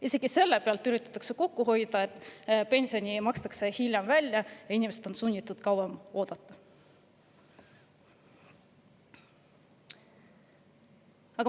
Isegi selle pealt üritatakse kokku hoida, et pension makstakse välja hiljem, inimesed on sunnitud kauem ootama.